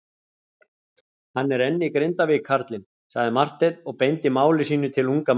Hann er enn í Grindavík karlinn, sagði Marteinn og beindi máli sínu til unga mannsins.